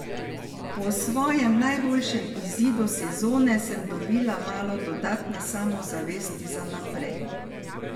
Po svojem najboljšem izidu sezone sem dobila malo dodatne samozavesti za naprej.